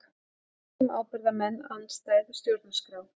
Lög um ábyrgðarmenn andstæð stjórnarskrá